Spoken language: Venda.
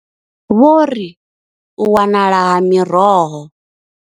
Vho ri, U wanala ha miroho.